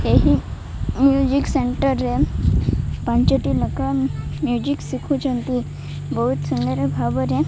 ଏହି music centre ରେ ପାଞ୍ଚଟି ନେଖା ମିଉଜିକ୍ ଶିଖୁଛନ୍ତି ବୋହୁତ୍ ସୁନ୍ଦର୍ ଭାବରେ --